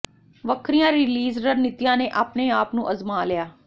ਵੱਖਰੀਆਂ ਰੀਲਿਜ਼ ਰਣਨੀਤੀਆਂ ਨੇ ਆਪਣੇ ਆਪ ਨੂੰ ਅਜ਼ਮਾ ਲਿਆ